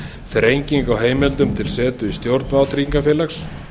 þrengingu á heimildum til setu í stjórn vátryggingafélags